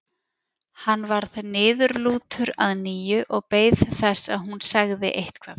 Hann varð niðurlútur að nýju og beið þess að hún segði eitthvað.